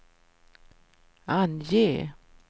ange